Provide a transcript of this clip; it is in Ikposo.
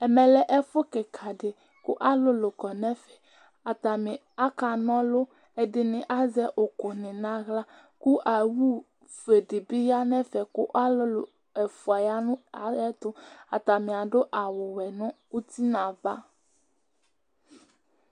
Ɛmɛlɛ ɛfu kìka di kʋ alʋlʋ kɔ nʋ ɛfɛ Atani aka na ɔlu Ɛdiní azɛ ʋku ni nʋ aɣla kʋ owu fʋe di bi ya nʋ kʋ alulu ɛfʋa ya nʋ ayɛtʋ Atani adu awu wɛ nʋ ʋti nʋ ava